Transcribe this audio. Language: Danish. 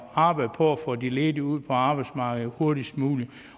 arbejde på at få de ledige ud på arbejdsmarkedet hurtigst muligt